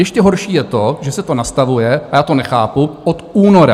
Ještě horší je to, že se to nastavuje, a já to nechápu, od února.